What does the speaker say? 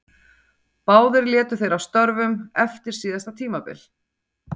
Báðir létu þeir af störfum eftir síðasta tímabil.